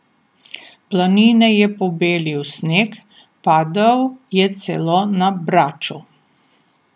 Planine je pobelil sneg, padal je celo na Braču.